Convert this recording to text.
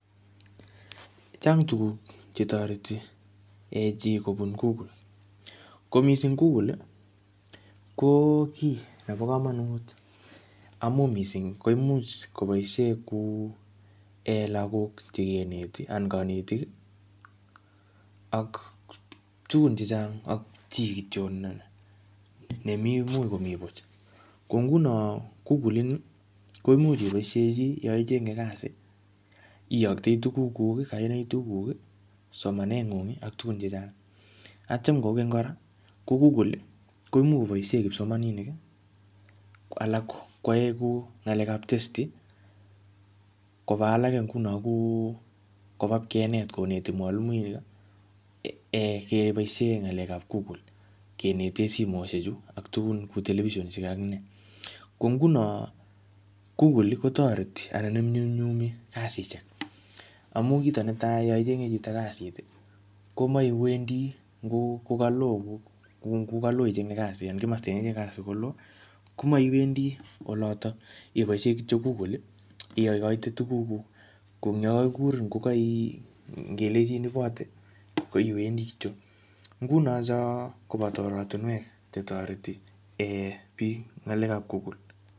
Chang tuguk che toreti um chi kobun google. Ko missing google, ko kiy nebo komonut amu missing koimuch koboisie kuu um lagok chekeneti anan kanetik ak tugun chechang ak chii kityo ne-nemii much komii buch. Ko nguno google ini, koimuch iboisie chii yaichenge kasi, iyoktoe tuguk kuk, kainak kuk, somanet ng'ung ak tugun chechang. Atyam kokeny kora, koimuch koboisie kipsomaninik, ko alak koae kuu ng'alekap tetsi, koba alake nguno kuu koba ipkenet koneti mwaliuinik um kebosie ng'alekap google, kenete simoshek chu, ak tugun kou televison ak nee. Ko nguno google, koteroti anan inyumnyumi kasishek. Amu kito netai yaichenge chito kasit, komaiwendi ngu kokaloo kuu ngukaloo ichenge kasit anan kimaste ne iyae kasi koloo, komaiwendi olotok. Ibosiei kityo google, iyakoite tuguk kuk. Ko ingyekakikurin ngokai ngelechin ibote, ko iwendi kityo. Nguno cho koboto oratunwek che toreti um biik ng'alekap google.